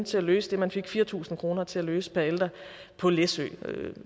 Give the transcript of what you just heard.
til at løse det man fik fire tusind kroner til at løse per ældre på læsø